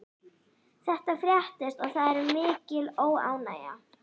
Þetta fréttist og það er mikil óánægja.